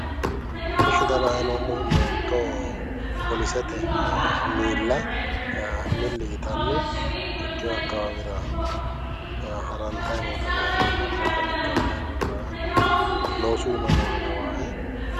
Eshi xa la"ayi noommohu meento poolisete miilla milli yitanni ikkewo akkawaawera harantayi noota la"ayi noomo alba ka'a higge hadhayi noore la"ayi noommo loosu iima nooha lawawoe